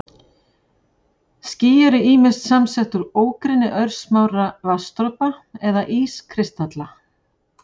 Ský eru ýmist samsett úr ógrynni örsmárra vatnsdropa eða ískristalla.